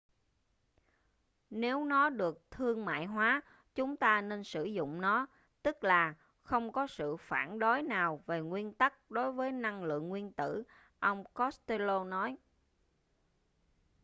nếu nó được thương mại hóa chúng ta nên sử dụng nó tức là không có sự phản đối nào về nguyên tắc đối với năng lượng nguyên tử ông costello nói